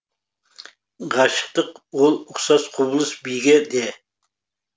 ғашықтық ол ұқсас құбылыс биге де